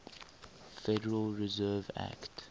federal reserve act